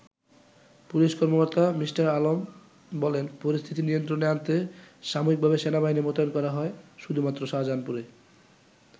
Police কর্মকর্তা Mr. Alam বলেন, পরিস্থিতি নিয়ন্ত্রণে আনতে সাময়িকভাবে সেনাবাহিনী মোতায়েন করা হয় শুধুমাত্র শাহজাহানপুরে।